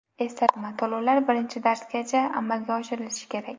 Eslatma: To‘lovlar birinchi darsgacha amalga oshirilishi kerak.